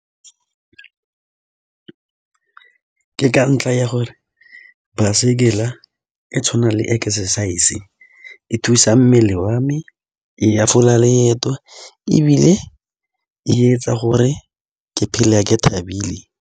Ke ka ntlha ya gore baesekele e tshwana le exercise-e thusa mmele wa me, e hafola leeto ebile e etsa gore ke phele ke thabile.